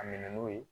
A minɛ n'o ye